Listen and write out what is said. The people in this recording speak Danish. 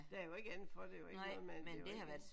Der er jo ikke andet for det er jo ikke noget man det er jo ikke